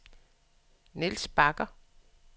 Nils Bagger